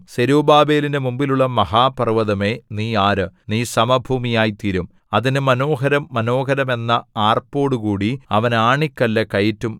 സെരുബ്ബാബേലിന്റെ മുമ്പിലുള്ള മഹാപർവ്വതമേ നീ ആര് നീ സമഭൂമിയായ്തീരും അതിന് മനോഹരം മനോഹരം എന്ന ആർപ്പോടുകൂടി അവൻ ആണിക്കല്ലു കയറ്റും